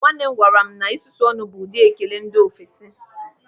Nwanne m gwara m na isusu ọnụ bụ ụdị ekele ndị ofesi